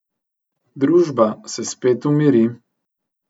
Družba se spet umiri.